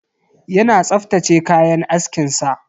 Yana tsaftace kayan askin sa.